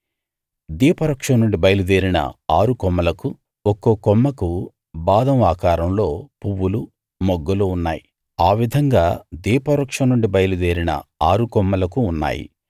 దీపవృక్షం నుండి బయలు దేరిన ఆరు కొమ్మలకు ఒక్కో కొమ్మకు బాదం ఆకారంలో పువ్వులు మొగ్గలు ఉన్నాయి ఆ విధంగా దీపవృక్షం నుండి బయలు దేరిన ఆరు కొమ్మలకు ఉన్నాయి